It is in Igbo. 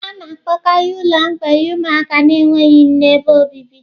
A na-akpọkarị ụlọ mgbei ụmụaka na-enweghị nne ebe obibi.